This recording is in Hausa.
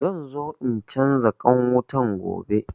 Zanzo in canza ƙwan wutan gobe